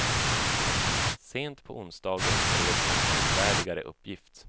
Sent på onsdagen spreds en trovärdigare uppgift.